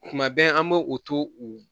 Kuma bɛɛ an bɛ u to u